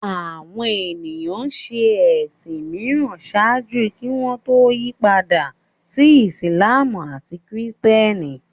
Àwọn ènìyàn ń ṣe ẹ̀sìn mìíràn ṣáájú kí wọ́n tó yí padà sí Ìsìlámù àti Kìrìtẹ́nì